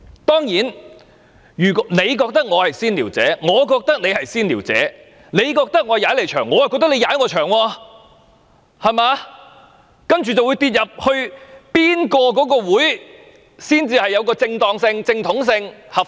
當然，你認為我是"先撩者"，我亦認為你是"先撩者"；你認為我"踩你場"，我亦認為你"踩我場"，然後便會爭辯哪一個法案委員會才是正統和合法。